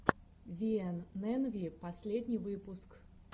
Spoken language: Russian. виэнэнви последний выпуск